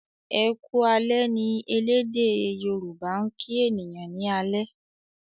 "Eku alè" ní ẹlẹdẹ yoruba' kín ènìyàn ní alé.